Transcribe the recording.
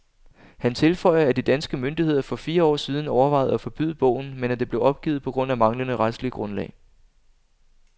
Han tilføjer, at de danske myndigheder for fire år siden overvejede at forbyde bogen, men at det blev opgivet på grund af manglende retsligt grundlag.